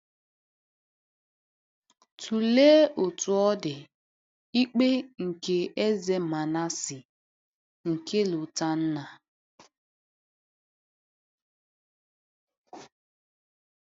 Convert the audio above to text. Tụlee, Otú ọ dị, ikpe nke Eze Manase nke Lotanna.